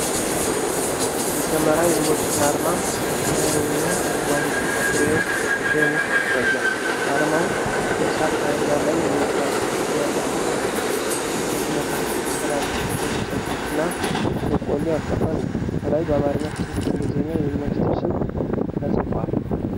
የሰማራ ዩኒቨርሲቲ አርማ በሰማያዊና አረንጓዴ ክብ ፍሬም ውስጥ ይታያል። አርማው በእሳት ነበልባል ላይ የወጣች ችቦ ያለበትን የተከፈተ መጽሐፍ፣ የተጠላለፉ ሁለት ሰይፎችና በቆሎ ያቀፈ ነው። ከላይ በአማርኛ ከታች በእንግሊዝኛ የዩኒቨርሲቲው ስም ተጽፏል።